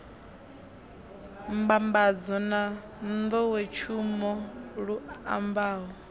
mbambadzo na nḓowetshumo lu ambaho